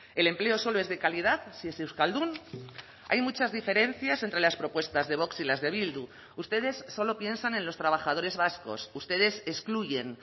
el empleo solo es de calidad si es euskaldun hay muchas diferencias entre las propuestas de vox y las de bildu ustedes solo piensan en los trabajadores vascos ustedes excluyen